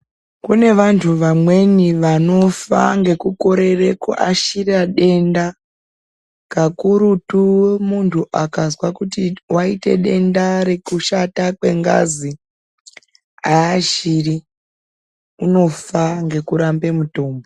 Kune vantu vamweni vanofa ngekukorera kuashira denda, kakurutu muntu akazwa kuti wayite denda rekushata kwengazi, aashiri unofa ngekuramba mutombo.